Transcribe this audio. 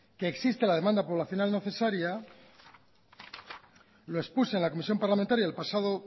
que existe la demanda poblacional necesaria lo expuse en la comisión parlamentaria el pasado